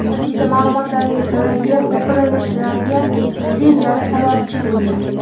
Politsiya ma’lumotiga ko‘ra, yer o‘pirilishlariga kuchli jala sababchi bo‘lgan.